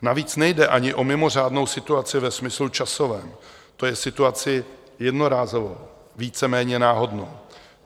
Navíc nejde ani o mimořádnou situaci ve smyslu časovém, to je situaci jednorázovou, víceméně náhodnou.